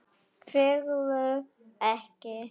Hverfur ekki.